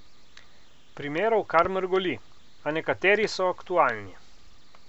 Primerov kar mrgoli, a nekateri so aktualni.